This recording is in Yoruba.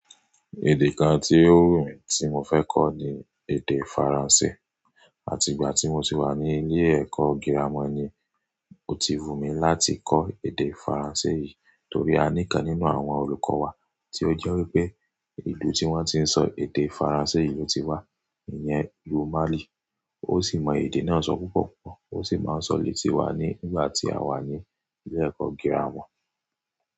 Èdè kan tí ó wù mí tí mo fẹ́ kọ́ ni èdè Faransé. Àti ìgbà tí mo ti wà ní ilé ẹ̀kọ́ girama ni ó ti wù mí láti kọ́ èdè Faransé yìí torí a ní kan nínú àwọn olùkọ́ wa tí ó jẹ́ wípé ìlú tí wọ́n ti ń sọ èdè Faransé yìí ló ti wá, ǹyẹn ìlú Mali. Ó sì mọ èdè náà sọ púpọ̀ púpọ̀ ó sì máa ń sọ létí wá nígbà tí a wà ní ilé ẹ̀kọ́ girama.